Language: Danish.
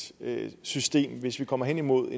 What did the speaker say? system hvis vi kommer hen imod